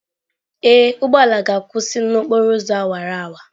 Ee, ụgbọ ala ga-akwụsị n'okporo ụzọ awara awara.